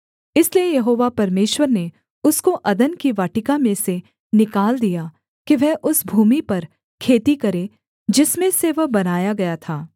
इसलिए यहोवा परमेश्वर ने उसको अदन की वाटिका में से निकाल दिया कि वह उस भूमि पर खेती करे जिसमें से वह बनाया गया था